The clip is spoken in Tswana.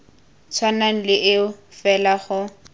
tshwanang le eo fela go